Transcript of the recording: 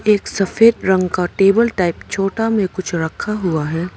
एक सफेद रंग का टेबल टाइप छोटा में कुछ रखा हुआ है।